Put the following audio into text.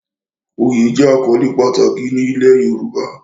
Oyè jẹ́ àkọ́lé pàtàkì ní ilẹ̀ Yorùbá